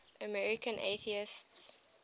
american atheists